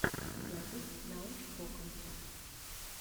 запись научпока